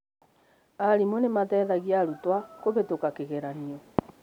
Arimũ nĩmateithagĩa aruto kũhĩtũka kĩgeranio